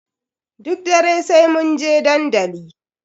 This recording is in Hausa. Duk dare sai munje dandali.